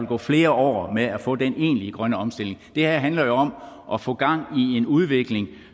gå flere år med at få den egentlige grønne omstilling det her handler jo om at få gang i en udvikling